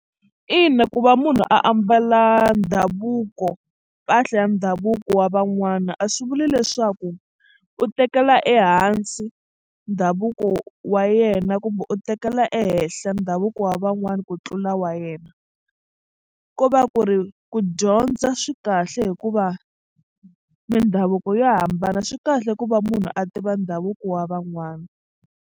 Ina ku va munhu ambala ndhavuko mpahla ya ndhavuko wa van'wana a swi vuli leswaku u tekela ehansi ndhavuko wa yena kumbe u tekela ehenhla ndhavuko wa van'wani ku tlula wa yena ko va ku ri ku dyondza swi kahle hikuva mindhavuko yo hambana swi kahle ku va munhu a tiva ndhavuko wa van'wana.